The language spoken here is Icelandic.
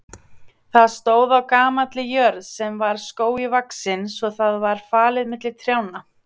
Það stóð á gamalli jörð sem var skógi vaxin svo það var falið milli trjánna.